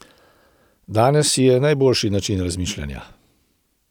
Danes je najboljši način razmišljanja.